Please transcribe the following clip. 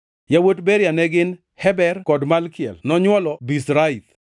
Yawuot Beria ne gin: Heber kod Malkiel nonywolo Birzaith,